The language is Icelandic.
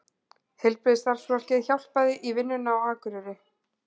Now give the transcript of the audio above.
Heilbrigðisstarfsfólki hjálpað í vinnuna á Akureyri